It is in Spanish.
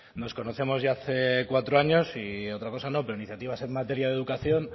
nos conocemos ya hace cuatro años y otra cosa no pero iniciativas en materia de educación